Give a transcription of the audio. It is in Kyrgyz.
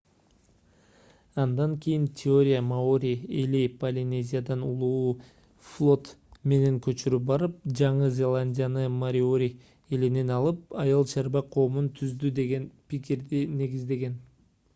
андан кийин теория маори эли полинезиядан улуу флот менен көчүп барып жаңы зеландияны мориори элинен алып айыл-чарба коомун түздү деген пикирди негиздеген